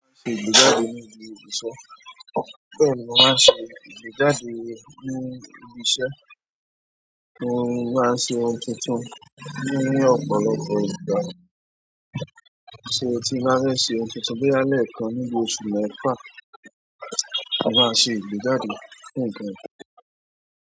Bẹ́ẹ̀ni mo máa ń ṣe ìgbéjáde ní ibi iṣẹ́, mo máa ń ṣe ohun tuntun ní ọ̀pọ̀lọpọ̀ ìgbà. Tí mo tí máa ń ṣe ohun tuntun bóyá lẹ́ẹ̀kan ní bí oṣù mẹ́fà, a máa ṣe ìgbéjáde fún nǹkan yìí.